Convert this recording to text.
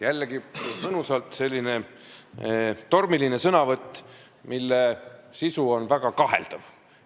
Jällegi selline mõnusalt tormiline sõnavõtt, mille sisu on väga kaheldav.